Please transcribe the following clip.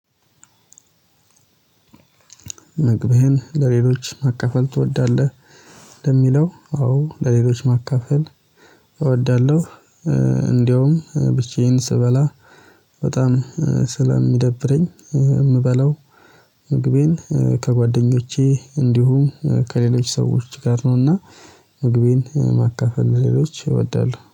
ምግብህን ለሌሎች ማካፈል ትወዳለህ? ለሚለው አዎ ለሌሎች ማካፈል እወዳለሁ። እንደውም ብቻዬን ስበላ በጣም ስለሚደብረኝ የምበላው ምግቤን ከጓደኞቼ እንዲሁም ከሌሎች ሰዎች ጋር ነውና። ምግቤን ማካፈል ለሌሎች እወዳለሁ